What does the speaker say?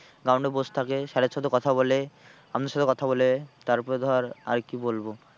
Ground এ বসে থাকে sir এর সাথে কথা বলে আমাদের সাথে কথা বলে তারপরে ধর আর কি বলবো।